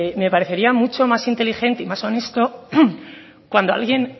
me parecería mucho más inteligente y más honesto cuando alguien